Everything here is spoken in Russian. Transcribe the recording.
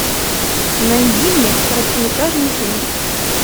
найди мне короткометражный фильм